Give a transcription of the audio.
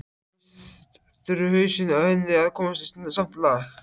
Fyrst þurfi hausinn á henni að komast í samt lag.